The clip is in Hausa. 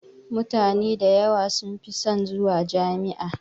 Mutane da yawa sun fi son zuwa Jami'a.